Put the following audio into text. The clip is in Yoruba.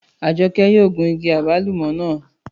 Àjọkẹ́ yóò gun igi àgbálùmọ́ naa.